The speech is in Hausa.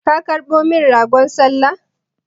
Ka karɓo min ragon sallah?